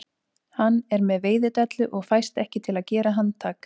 Hann er með veiðidellu og fæst ekki til að gera handtak